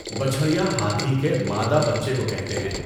بچَھڑیا ہاتھی کے مادہ بچے کو کہتے ہیں۔